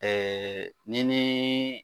n'i ni